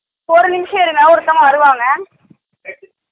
ஒரு நிமிஷம் இருங்க ஒருத்தவங்க வருவாங்க